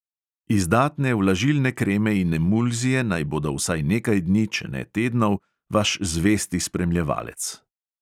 Izdatne vlažilne kreme in emulzije naj bodo vsaj nekaj dni, če ne tednov, vaš zvesti spremljevalec.